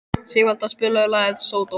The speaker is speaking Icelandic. Sigvalda, spilaðu lagið „Sódóma“.